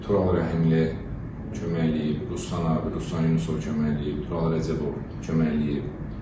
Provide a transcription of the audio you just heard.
Tural Rəhimli köməkləyib, Ruslan abi, Ruslan Yunusov köməkləyib, Tural Rəcəbov köməkləyib.